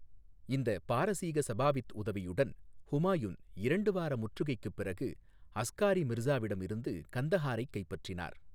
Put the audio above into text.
இந்த பாரசீக சபாவித் உதவியுடன் ஹுமாயூன் இரண்டு வார முற்றுகைக்குப் பிறகு அஸ்காரி மிர்சாவிடமிருந்து கந்தஹாரைக் கைப்பற்றினார்.